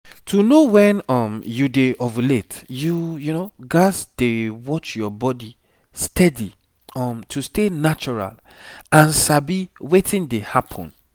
to know when um you dey ovulate you gats dey watch your body steady um to stay natural and sabi wetin dey happen.